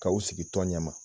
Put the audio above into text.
K'aw sigi tɔn ɲɛ ma.